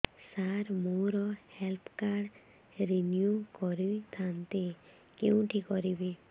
ସାର ମୋର health card renew କରିଥାନ୍ତି କେଉଁଠି କରିବି